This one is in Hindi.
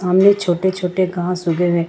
सामने छोटे छोटे घास उगे हैं।